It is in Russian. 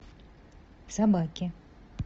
собаки